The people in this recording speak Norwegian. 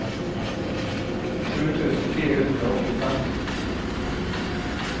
sju tusen fire hundre og åttifem